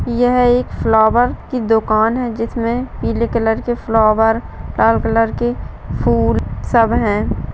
यह एक फ्लावर की दुकान है जिसमें पीले कलर के फ्लावर लाल कलर के फूल सब है।